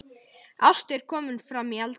Ásta er komin framí eldhús.